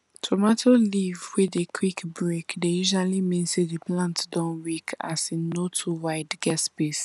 tomato leave wey dey quick break dey usually mean say di plant don weak as e no too wide get space